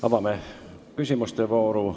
Avame küsimuste vooru.